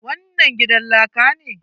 Wannan gidan laka ne?